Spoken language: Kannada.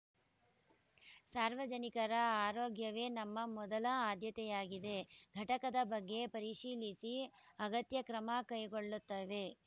ಸಾರ್ವಜನಿಕರ ಆರೋಗ್ಯವೇ ನಮ್ಮ ಮೊದಲ ಆದ್ಯತೆಯಾಗಿದೆ ಘಟಕದ ಬಗ್ಗೆ ಪರಿಶೀಲಿಸಿ ಅಗತ್ಯ ಕ್ರಮ ಕೈಗೊಳ್ಳುತ್ತೇವೆ